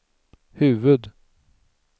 huvud-